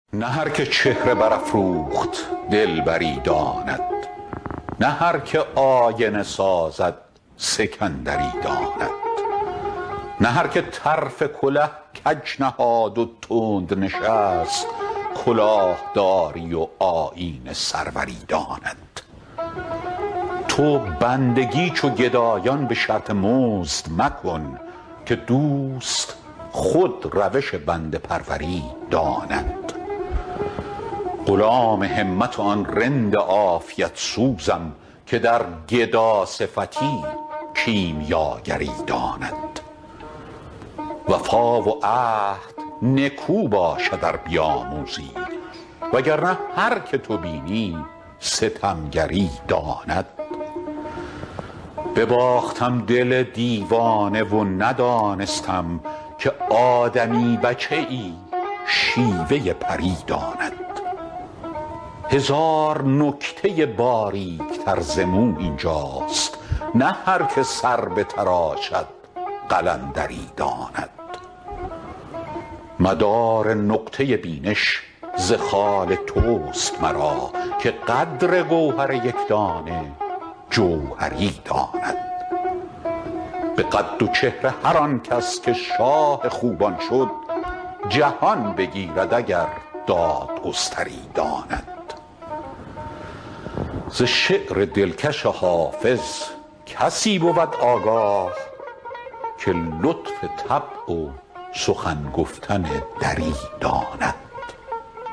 نه هر که چهره برافروخت دلبری داند نه هر که آینه سازد سکندری داند نه هر که طرف کله کج نهاد و تند نشست کلاه داری و آیین سروری داند تو بندگی چو گدایان به شرط مزد مکن که دوست خود روش بنده پروری داند غلام همت آن رند عافیت سوزم که در گداصفتی کیمیاگری داند وفا و عهد نکو باشد ار بیاموزی وگر نه هر که تو بینی ستمگری داند بباختم دل دیوانه و ندانستم که آدمی بچه ای شیوه پری داند هزار نکته باریک تر ز مو این جاست نه هر که سر بتراشد قلندری داند مدار نقطه بینش ز خال توست مرا که قدر گوهر یک دانه جوهری داند به قد و چهره هر آن کس که شاه خوبان شد جهان بگیرد اگر دادگستری داند ز شعر دلکش حافظ کسی بود آگاه که لطف طبع و سخن گفتن دری داند